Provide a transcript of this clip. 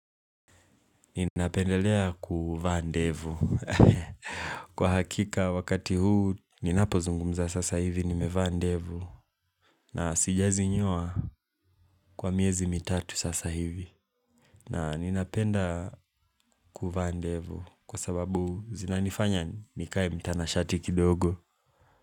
Ninapendelea kuvaa ndevu kwa hakika wakati huu ninapozungumza sasa hivi nimevaa ndevu na siezi nyoa kwa miezi mitatu sasa hivi na ninapenda kuvaa ndevu Kwa sababu zinanifanya nikae mtanashati kidogo.